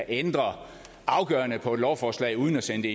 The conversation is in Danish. ændre afgørende på et lovforslag uden at sende